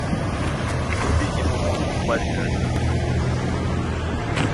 вруби кино монстр в париже